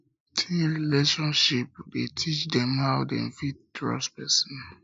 teenage relationship de teach um dem how dem fit trust persin